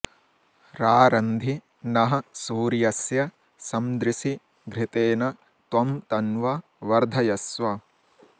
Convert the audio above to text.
रा॒र॒न्धि नः॒ सूर्य॑स्य सं॒दृशि॑ घृ॒तेन॒ त्वं त॒न्वं॑ वर्धयस्व